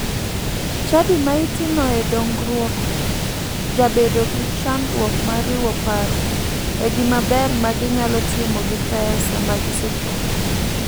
Chadi ma itimoe dongruok jabedo gi chandruok mar riwo paro e gima ber ma ginyalo timo gi pesa magisechoko.